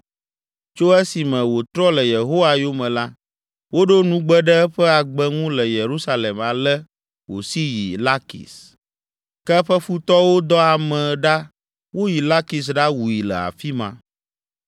Tso esime wòtrɔ le Yehowa yome la, woɖo nugbe ɖe eƒe agbe ŋu le Yerusalem ale wòsi yi Lakis, ke eƒe futɔwo dɔ ame ɖa woyi Lakis ɖawui le afi ma.